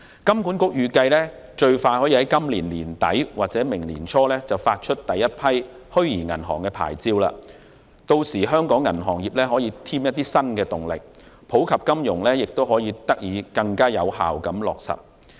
金管局預計最快可於今年年底或明年年初發出第一批虛擬銀行牌照，屆時可望為香港銀行業加添新動力，並更有效地落實普及金融。